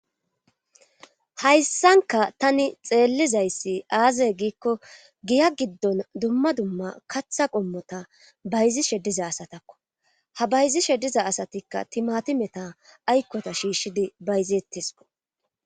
hayssanka tani xeellizayssi aazey giikko giya giddon dumma dumma katha qommota bayzi shediza asatakko ha bayzi shediza asatikka timati meta aykkota shiishshidi bayzeetteso